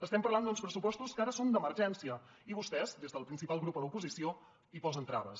estem parlant d’uns pressupostos que ara són d’emergència i vostès des del principal grup a l’oposició hi posen traves